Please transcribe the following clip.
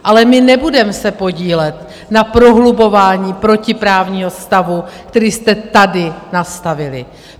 Ale my se nebudeme podílet na prohlubování protiprávního stavu, který jste tady nastavili.